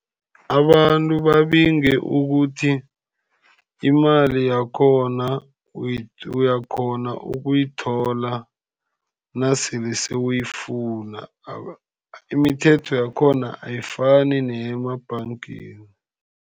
Abantu babinge ukuthi imali yakhona uyakghona ukuyithola nasele sewuyifuna. Imithetho yakhona ayifani neyemabhangeni.